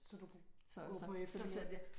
Så du kunne gå på efterløn der